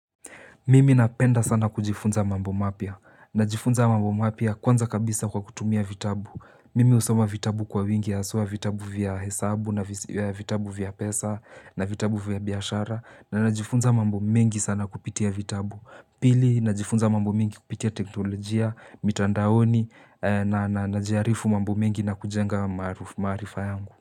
Mimi napenda sana kujifunza mambo mapya. Najifunza mambo mapia kwanza kabisa kwa kutumia vitabu. Mimi husoma vitabu kwa wingi ya hasua vitabu vya hesabu na vitabu vya pesa na vitabu vya biashara. Na najifunza mambo mengi sana kupitia vitabu. Pili, najifunza mambo mengi kupitia teknolojia, mitandaoni na najiarifu mambo mengi na kujenga maarifa yangu.